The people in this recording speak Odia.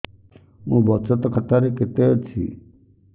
ମୋ ବଚତ ଖାତା ରେ କେତେ ଅଛି